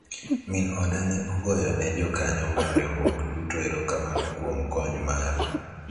min oda ne ogoyo ne jokanyo mar riwruok duto erokamano kuom kony maru